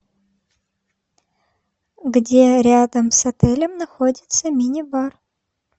где рядом с отелем находится мини бар